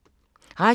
Radio 4